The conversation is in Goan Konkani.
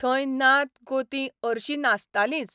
थंय नात गोतीं अर्शी नासतालींच.